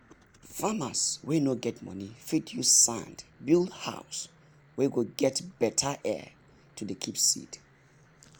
farmers wey no get money fit use sand build house wey go get better air to dey keep seed